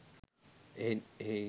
එහෙයින් ඒ